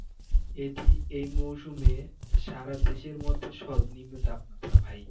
এটি এই মৌসুমে সারাদেশের মধ্যে সর্বনিম্ন তাপমাত্রা ভাই